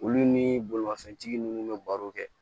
Olu nii bolimafɛntigi nunnu be baro kɛ